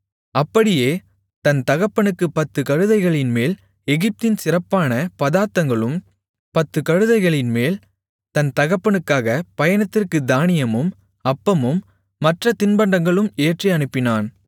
அப்படியே தன் தகப்பனுக்குப் பத்துக் கழுதைகளின்மேல் எகிப்தின் சிறப்பான பதார்த்தங்களும் பத்து கழுதைகளின்மேல் தன் தகப்பனுக்காக பயணத்திற்குத் தானியமும் அப்பமும் மற்றத் தின்பண்டங்களும் ஏற்றி அனுப்பினான்